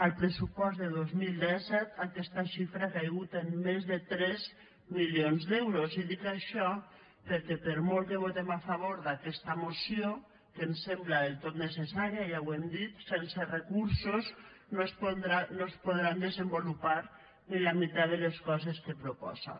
al pressupost de dos mil disset aquesta xifra ha caigut en més de tres milions d’euros i dic això perquè per molt que votem a favor d’aquesta moció que ens sembla del tot necessària ja ho hem dit sense recursos no es podran desenvolupar ni la meitat de les coses que proposa